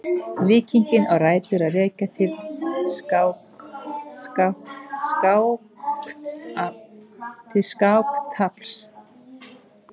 Líkingin á rætur að rekja til skáktafls.